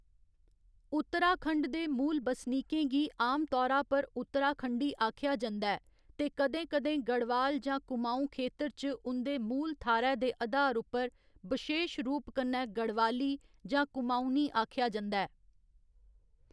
उत्तराखंड दे मूल बसनीकें गी आम तौरा पर उत्तराखंडी आखेआ जंदा ऐ ते कदें कदें गढ़वाल जां कुमाऊं खेतर च उं'दे मूल थाह्‌‌‌रै दे अधार उप्पर बशेश रूप कन्नै गढ़वाली जां कुमांऊँनी आखेआ जंदा ऐ।